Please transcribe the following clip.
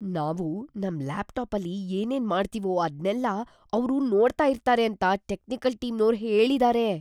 ನಾವು ನಮ್ ಲ್ಯಾಪ್‌ಟಾಪಲ್ಲಿ ಏನೇನ್ ಮಾಡ್ತೀವೋ ಅದ್ನೆಲ್ಲ ಅವ್ರು ನೋಡ್ತಾ ಇರ್ತಾರೆ ಅಂತ ಟೆಕ್ನಿಕಲ್‌ ಟೀಮ್ನೋರು ಹೇಳಿದಾರೆ.